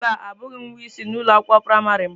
Mba, abụghị m nwa isi na ụlọ akwụkwọ praịmarị m.